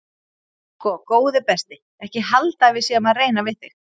Sko góði besti ekki halda að við séum að reyna við þig.